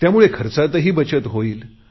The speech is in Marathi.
त्यामुळे खर्चातही बचत होईल